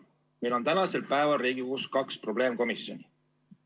Meil on tänasel päeval Riigikogus kaks probleemkomisjoni.